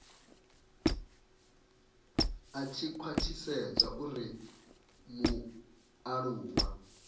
a tshi khwathisedza uri mualuwa